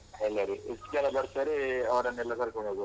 ಎಲ್ಲರು ಎಷ್ಟ್ ಜನ ಬರ್ತಾರೆ ಅವರನ್ನೆಲ್ಲ ಕರ್ಕೋಂಡ್ ಹೋಗೋದು.